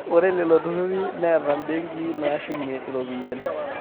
ore lelo turrurri neetai imbenkii naashumieki iropiyiani